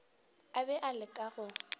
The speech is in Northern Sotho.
a be a leka go